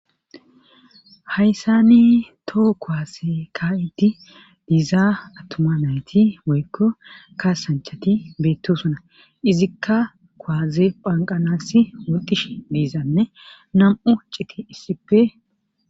Hayssani toho koaase ka'idi diizaa attuma nayti boykko kaasanchati beettosuna izikka kowaze phanqanasi wudish diizanne nam'u citi issipe.